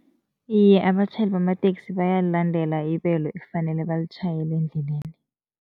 Iye, abatjhayeli bamateksi bayalilandela ibelo ekufanele balitjhayele endleleni.